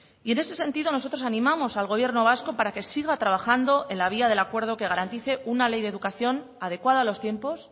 y en ese sentido nosotros animamos al gobierno vasco para que siga trabajando en la vía del acuerdo que garantice una ley de educación adecuada a los tiempos